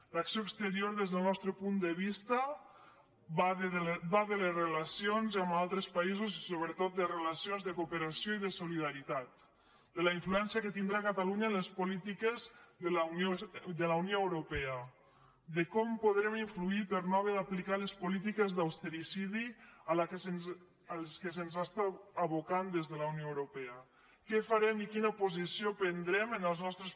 l’acció exterior des del nostre punt de vista va de les relacions amb altres països i sobretot de relacions de cooperació i de solidaritat de la influència que tindrà catalunya en les polítiques de la unió europea de com podrem influir per no haver d’aplicar les polítiques d’austericidi a què se’ns aboca des de la unió europea què farem i quina posició prendrem en els nostres